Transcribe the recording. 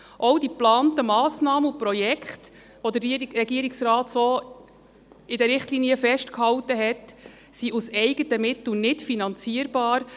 Auch die geplanten Massnahmen und Projekte, die der Regierungsrat in den Richtlinien festgehalten hat, sind aus eigenen Mitteln nicht finanzierbar.